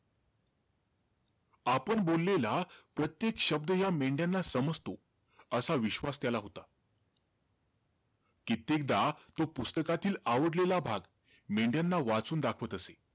आपण बोललेला प्रत्येक शब्द या मेंढ्याना समजतो असा विश्वास त्याला होता. कित्येकदा, तो पुस्तकातील आवडलेला भाग, मेंढ्याना वाचून दाखवत असे.